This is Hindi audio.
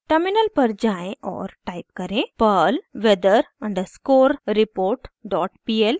टर्मिनल पर जाएँ और टाइप करें: perl weather underscore report dot pl और एंटर दबाएं